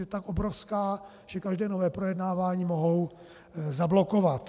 Je tak obrovská, že každé nové projednávání mohou zablokovat.